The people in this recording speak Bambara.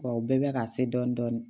Wa u bɛɛ bɛ ka se dɔɔnin dɔɔnin